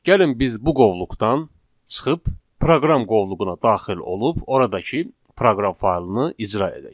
Gəlin biz bu qovluqdan çıxıb proqram qovluğuna daxil olub oradakı proqram faylını icra edək.